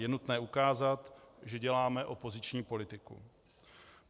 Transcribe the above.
Je nutné ukázat, že děláme opoziční politiku.